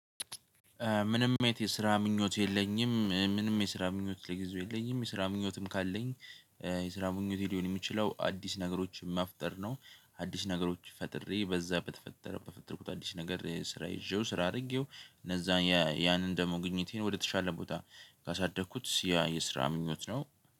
ምንም አይነት የስራ ምኞት የለኝም ምንም የስራ ምኞት ለጊዜው የለኝም የስራ ምኞትም ካለኝ የስራ ምኞቴ ሊሆን የሚችለው አዲስ ነገሮችን ማፍጠር ነው። አዲስ ነገሮች ፈጥሬ በዛ በተፈጠረበት በፈጠርኩት አዲስ ነገር ስራ ይዤው ስራ አድርጌው እነዛ ያንን ደግሞ ግኝቴን ወደተሻለ ቦታ ካሳደግኩት ያ የስራ ምኞት ነው